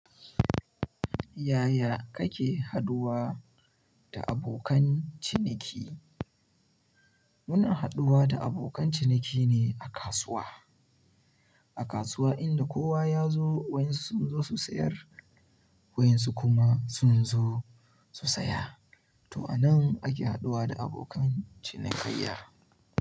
Yaya kake haɗuwa da abokan ciniki? Muna haɗuwa da abokan ciniki ne a kasuwa, a kasuwa inda kowa ya zo wayen su sun zo su sayar wayen su kuma sun zo su saya. To a nan ake haɗuwa da abokan cinikayya.